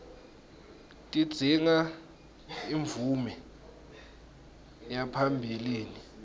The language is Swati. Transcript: tidzinga imvume yaphambilini